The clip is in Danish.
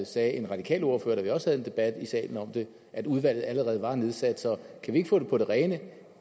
sagde en radikal ordfører da vi også havde en debat i salen om det at udvalget allerede var nedsat så kan vi ikke få det på det rene